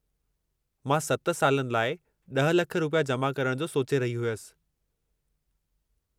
मां 7 सालनि लाइ 10 लख रुपया जमा करणु जो सोचे रही हुयसि।